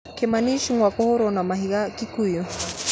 Kimani Ichung'a kũhũũrwo na mahiga Kikuyu